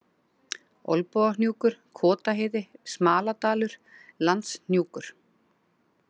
Olnbogahnjúkur, Kotaheiði, Smaladalur, Landshnjúkur